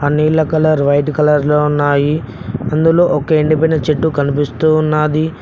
ఆ నీళ్ల colour white colour లో ఉన్నాయి అందులో ఒక ఎండిపోయిన చెట్టు కనిపిస్తూ ఉన్నది.